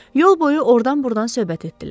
Yol boyu ordan-burdan söhbət etdilər.